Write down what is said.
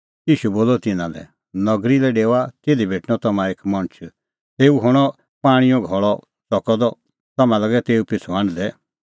ईशू बोलअ तिन्नां लै नगरी लै डेओआ तिधी भेटणअ तम्हां एक मणछ तेऊ हणअ पाणींओ घल़अ च़कअ द तम्हैं लागै तेऊ पिछ़ू हांढदै